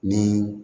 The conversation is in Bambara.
Ni